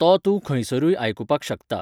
तो तूं खंयसरूय आयकुपाक शकता.